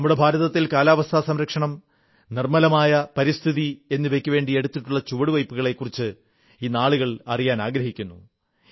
നമ്മുടെ ഭാരതത്തിൽ കാലാവസ്ഥാ സംരക്ഷണം നിർമ്മലമായ പരിസ്ഥിതി എന്നിവയ്ക്കുവേണ്ടി എടുത്തിട്ടുള്ള ചുവടുവയ്പ്പുകളെക്കുറിച്ച് ഇന്ന് ആളുകൾ അറിയാനാഗ്രഹിക്കുന്നു